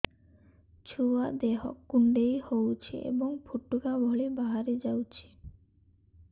ଛୁଆ ଦେହ କୁଣ୍ଡେଇ ହଉଛି ଏବଂ ଫୁଟୁକା ଭଳି ବାହାରିଯାଉଛି